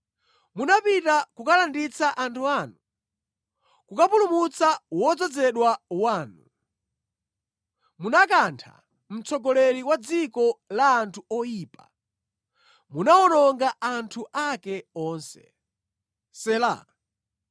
Munapita kukalanditsa anthu anu, kukapulumutsa wodzozedwa wanu. Munakantha mtsogoleri wa dziko la anthu oyipa, munawononga anthu ake onse. Sela